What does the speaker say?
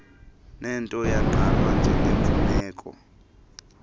neeldo yagqalwa njengemfuneko